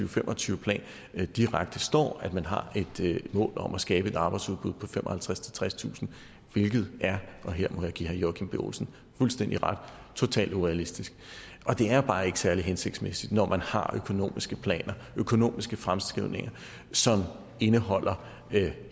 og fem og tyve planen direkte står at man har et mål om at skabe et arbejdsudbud på femoghalvtredstusind tredstusind hvilket er og her må jeg give herre joachim b olsen fuldstændig ret totalt urealistisk og det er bare ikke særlig hensigtsmæssigt når man har økonomiske planer økonomiske fremskrivninger som indeholder